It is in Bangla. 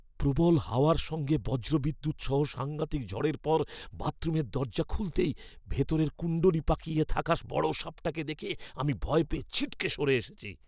প্রবল হাওয়ার সঙ্গে বজ্রবিদ্যুৎ সহ সাঙ্ঘাতিক ঝড়ের পর বাথরুমের দরজা খুলতেই ভেতরে কুণ্ডলী পাকিয়ে থাকা বড় সাপটাকে দেখে আমি ভয় পেয়ে ছিটকে সরে এসেছি।